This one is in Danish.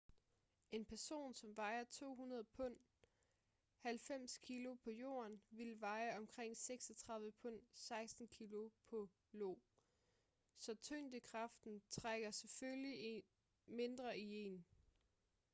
en person som vejer 200 pund 90 kg på jorden ville veje omkring 36 pund 16 kg på io. så tyngdekraften trækker selvfølgelig mindre i en